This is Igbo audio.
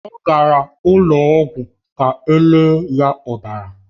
Ọ gara ụlọ ọgwụ ka o lee ya ọbara.